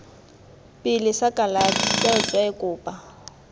pele sa kalafi tsweetswee kopa